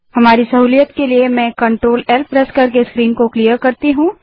हमारी सहूलियत के लिए मैं CTRLL प्रेस करके स्क्रीन को साफ करती हूँ